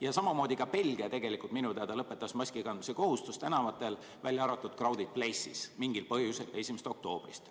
Ja samamoodi ka Belgia minu teada lõpetas tänaval maski kandmise kohustuse, välja arvatud crowded places, mingil põhjusel 1. oktoobrist.